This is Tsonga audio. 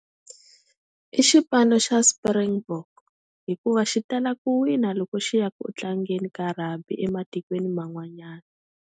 I xipano xa Springbok. Hikuva xi tala ku wina loko xi ya ku u tlangeni ka rugby ematikweni man'wanyana.